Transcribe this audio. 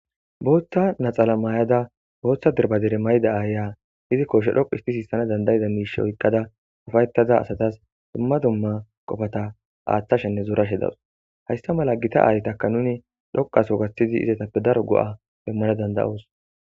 booththa naxala maay7ada booththa dirbadere mayida aaya izi koshshe dhoqu isti siissana dandayida miishe oyqqada ufayetaza asatas dumma dumma qofata aaththashenne zoorashe dawus haysta mala gita aaytaka nuni dhoqaso gaththidi izatappe daro go7a demmana danda7os